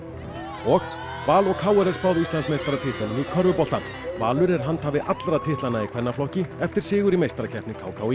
og Val og k r er spáð Íslandsmeistaratitlunum í körfubolta Valur er handhafi allra titlanna í kvennaflokki eftir sigur í meistarakeppni k k í